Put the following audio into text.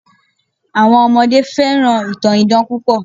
Àwọn ọmọdé fẹ́ràn ìtàn idán púpọ̀